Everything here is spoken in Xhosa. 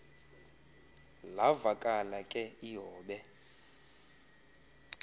lavakala ke ihobe